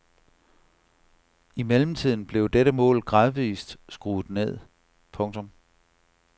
I mellemtiden blev dette mål gradvist skruet ned. punktum